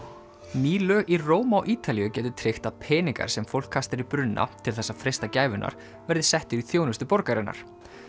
ný lög í Róm á Ítalíu gætu tryggt að peningar sem fólk kastar í brunna til þess að freista gæfunnar verði settir í þjónustu borgarinnar